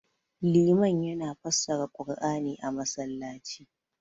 liman yana fassara qur'ani a masallaci